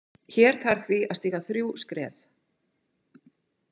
Hér þarf því að stíga þrjú skref.